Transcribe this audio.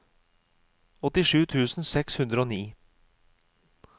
åttisju tusen seks hundre og ni